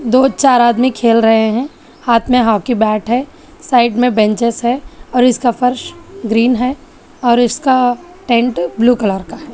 दो चार आदमी खेल रहे हैं हाथ में हॉकी बैट है साइड में बेंचेज है और इसका फर्श ग्रीन है और इसका टेंट ब्लू कलर का है।